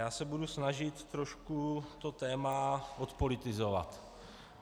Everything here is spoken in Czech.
Já se budu snažit trošku to téma odpolitizovat.